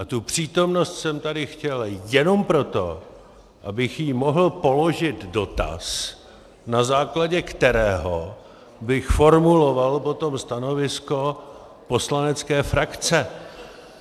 A tu přítomnost jsem tady chtěl jenom proto, abych jí mohl položit dotaz, na základě kterého bych formuloval potom stanovisko poslanecké frakce.